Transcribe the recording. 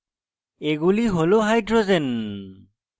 এগুলি হল hydrogens